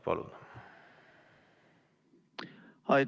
Palun!